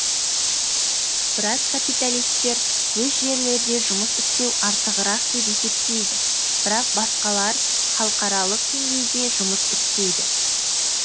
біраз капиталисттер өз жерлерде жұмыс істеу артығырақ деп есептейді бірақ басқалар халықаралық деңгейде жұмыс істейді